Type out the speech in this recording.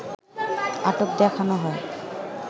আটক দেখানো হয়